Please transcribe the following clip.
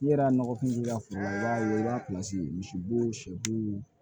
N'i yɛrɛ nɔgɔfinna foro la i b'a ye i b'a misi bo sɛbu